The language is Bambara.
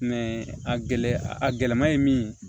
a gɛlɛ a a gɛlɛma ye min ye